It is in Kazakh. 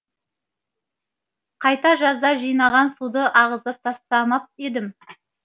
қайта жазда жинаған суды ағызып тастамап едім